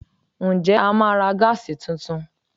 Ǹjẹ́ a máa ra Gas tuntun?